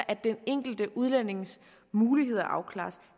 at den enkelte udlændings muligheder afklares